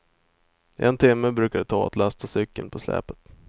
En timma brukar det ta att lasta cykeln på släpet.